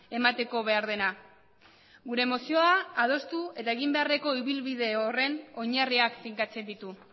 emateko behar dena gure mozioa adostu eta egin beharreko ibilbide horren oinarriak finkatzen ditu